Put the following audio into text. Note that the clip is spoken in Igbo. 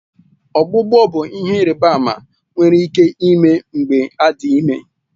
Ọgbụgbọ bụ ihe ịrịba ama nwere ike ime mgbe adị ime